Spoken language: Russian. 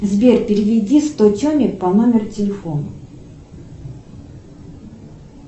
сбер переведи сто теме по номеру телефона